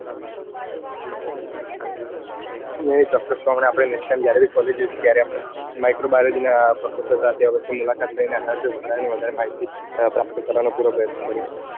નઈ ચોક્કસ પણે આપડે જયારે college જઈસુ ત્યારે આપડે micro biology ના professor સાથે આ વર્ષે મુલાકાત લઈને આના વિશે વધારે ને વધારે માહિતી પ્રાપ્ત કરવાનો પૂરો પ્રયત્ન કરીસું.